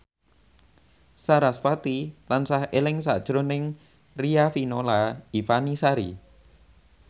sarasvati tansah eling sakjroning Riafinola Ifani Sari